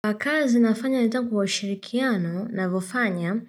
Kwa kazi nafanya nitangu wa shirikiano navyofanya